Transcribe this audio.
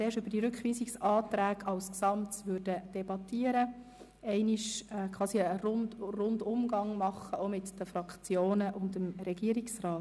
Zuerst würden wir in einem Umgang mit den Fraktionen und Regierungsrat Schnegg gesamthaft über diese Rückweisungsanträge diskutieren.